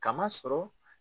K'a masɔrɔ.